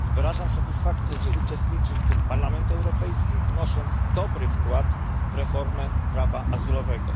Wyrażam satysfakcję, że uczestniczy w tym Parlament Europejski, wnosząc dobry wkład w reformę prawa azylowego.